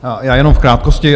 Já jenom v krátkosti.